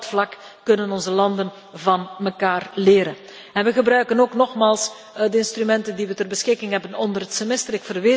Want ook op dat vlak kunnen onze landen van elkaar leren. We gebruiken ook, nogmaals, de instrumenten die we ter beschikking hebben onder het semester.